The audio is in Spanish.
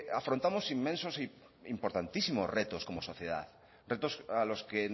afrontamos inmensos e importantísimos retos como sociedad retos a los que